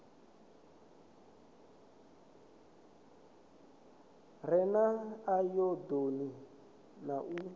re na ayodini u na